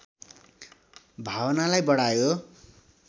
भावनालाई बढायो